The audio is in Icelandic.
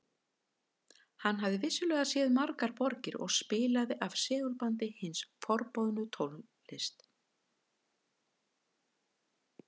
Hann hafði vissulega séð margar borgir og spilaði af segulbandi hina forboðnu tónlist